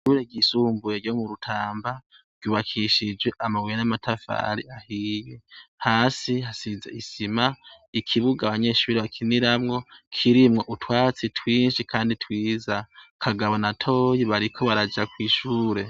ishure gisumbuye ryo mu rutamba ryubakishijwe amabuye n'amatafari ahiye hasi hasize isima ikibuga abanyeshuri bakiniramwo kirimwo utwatsi twinshi kandi twiza kagabo na toyi bariko baraja kwishure